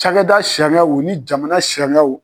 Cakɛda sariyaw ni jamana sariyaw.